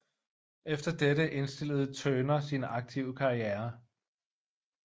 Efter dette indstillede Turner sin aktive karriere